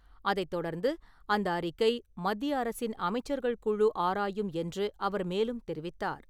அதைத் தொடர்ந்து, அந்த அறிக்கை மத்திய அரசின் அமைச்சர்கள் குழு ஆராயும் என்றும் அவர் மேலும் தெரிவித்தார்.